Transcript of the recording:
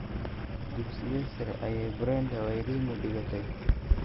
Dugsigee sare ayay Brenda Wairimu dhigatay?